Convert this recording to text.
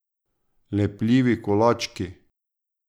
Lepljivi kolački ...